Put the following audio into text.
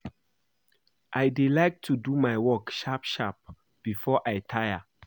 I dey like to do my work sharp sharp before I tire